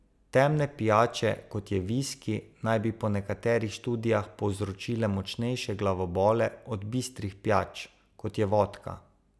Temne pijače kot je viski, naj bi po nekaterih študijah povzročile močnejše glavobole od bistrih pijač, kot je vodka.